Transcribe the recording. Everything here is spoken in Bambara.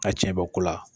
A tiɲɛ bɔ ko la